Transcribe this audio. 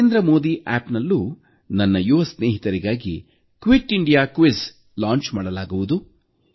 ನರೇಂದ್ರ ಮೋದಿ ಆಪ್ನಲ್ಲೂ ನನ್ನ ಯುವ ಸ್ನೇಹಿತರಿಗಾಗಿ ಕ್ವಿಟ್ ಇಂಡಿಯಾ ರಸಪ್ರಶ್ನೆಗೆ ಚಾಲನೆ ನೀಡಲಾಗುವುದು